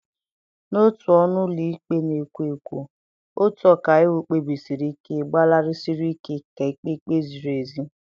N'otu ọnụ ụlọ ikpe na-ekwo ekwo, otu ọkàiwu kpebisiri ike gbalịsiri ike ka e kpee ikpe ziri ezi.